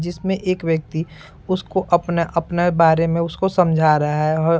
जिसमें एक व्यक्ति उसको अपना अपना बारे में उसको समझा रहा है औ --